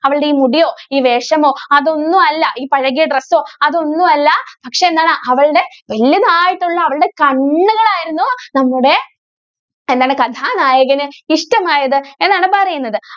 അവളുടെ ഈ മുടിയോ, ഈ വേഷമോ, അതൊന്നും അല്ല. ഈ പഴകിയ dress ഓ, അതൊന്നും അല്ല പക്ഷേ എന്താണ് അവളുടെ വല്യതായിട്ടുള്ള അവളുടെ കണ്ണുകളായിരുന്നു നമ്മുടെ എന്താണ് കഥാനായകന് ഇഷ്ടമായത് എന്നാണ് പറയുന്നത്.